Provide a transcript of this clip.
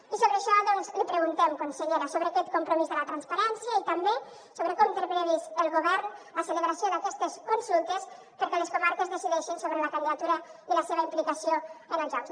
i sobre això doncs li preguntem consellera sobre aquest compromís de la transparència i també sobre com té prevista el govern la celebració d’aquestes consultes perquè les comarques decideixin sobre la candidatura i la seva implicació en els jocs